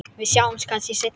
Við sjáumst kannski seinna.